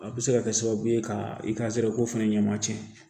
A bɛ se ka kɛ sababu ye ka i ka zɛrɛ ko fana ɲɛma tiɲɛ